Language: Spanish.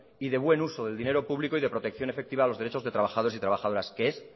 y de buen uso del dinero público y de protección efectiva de los derechos de trabajadores y trabajadoras que es